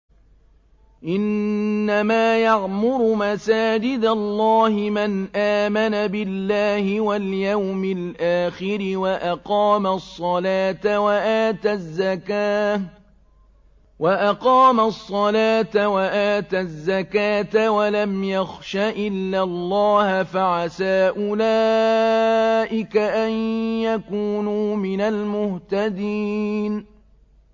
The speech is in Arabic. إِنَّمَا يَعْمُرُ مَسَاجِدَ اللَّهِ مَنْ آمَنَ بِاللَّهِ وَالْيَوْمِ الْآخِرِ وَأَقَامَ الصَّلَاةَ وَآتَى الزَّكَاةَ وَلَمْ يَخْشَ إِلَّا اللَّهَ ۖ فَعَسَىٰ أُولَٰئِكَ أَن يَكُونُوا مِنَ الْمُهْتَدِينَ